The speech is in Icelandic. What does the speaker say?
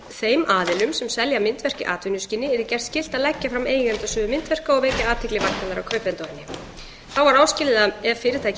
þeim aðilum sem selja myndverk í atvinnuskyni yrði gert skylt að leggja fram eigendasögu myndverka og vekja athygli væntanlegra kaupenda á henni þá var áskilið að ef fyrirtæki